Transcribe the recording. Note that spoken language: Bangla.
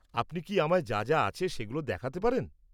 আপনি কি আমায় যা যা আছে সেগুলো দেখাতে পারেন?